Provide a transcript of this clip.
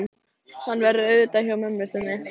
Hann verður auðvitað hjá mömmu sinni.